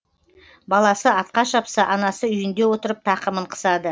баласы атқа шапса анасы үйінде отырып тақымын қысады